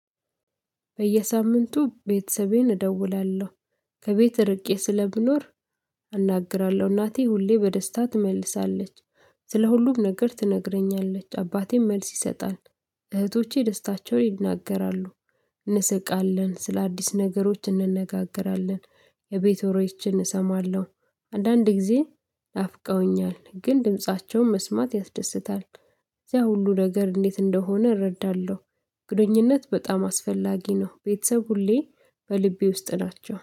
በየሳምንቱ ለቤተሰቤ እደውላለሁ ከቤት እርቄ ስለምኖር አናግራለሁ እናቴ ሁሌ በደስታ ትመልሳለች። ስለ ሁሉም ነገር ትነግረኛለች አባቴም መልስ ይሰጣል። እህቶቼ ደስታቸውን ይናገራሉ። እንስቃለን ስለአዲስ ነገሮች እንነጋገራለን። የቤት ወሬዎችን እሰማለሁ። አንዳንድ ጊዜ ናፍቀውኛል ግን ድምፃቸውን መስማት ያስደስታል። ያ ሁሉ ነገር እንዴት እንደሆነ እረዳለሁ። ግንኙነት በጣም አስፈላጊ ነው። ቤተሰብ ሁሌ በልቤ ውስጥ ናቸው